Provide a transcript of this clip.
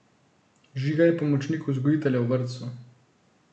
Žiga je pomočnik vzgojitelja v vrtcu.